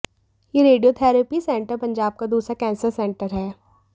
यह radiotherapy centre Punjab का दूसरा कैंसर सेंटर है